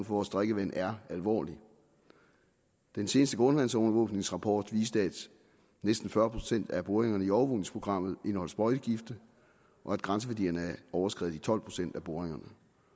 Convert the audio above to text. vores drikkevand er alvorlig den seneste grundvandsovervågningsrapport viste at næsten fyrre procent af boringerne i overvågningsprogrammet indeholdt sprøjtegifte og at grænseværdierne er overskredet i tolv procent af boringerne